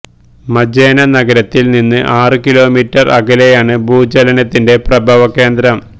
Majene നഗരത്തില് നിന്ന് ആറ് കിലോമീറ്റര് അകലെയാണ് ഭൂചലനത്തിന്റെ പ്രഭവ കേന്ദ്രം